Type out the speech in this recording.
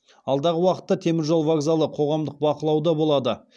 алдағы уақытта теміржол вокзалы қоғамдық бақылауда болады